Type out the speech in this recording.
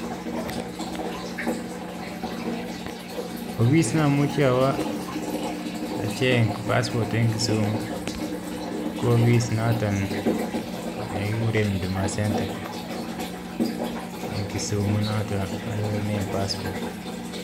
Ofis namuchi awo acheng [passport] eng Kisumu ko ofis notok nebo [huduma centre] ne anyorunen [passport]